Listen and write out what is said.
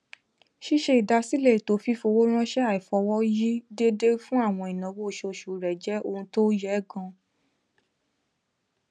ṣíṣe ìdásílẹ ètò fífi owó ránṣẹ aifọwọyi déédéé fún àwọn ìnáwó oṣooṣù rẹ jẹ ohun tó yẹ ganan